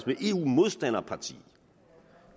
et eu modstanderparti